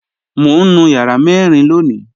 Mọ̀ n nú yàrà mẹ́rìn lóńì